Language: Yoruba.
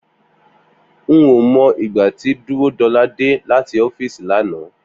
N ò mo̩ ìgbà tí Dúródo̩lá dé láti ó̩fíìsì lánàá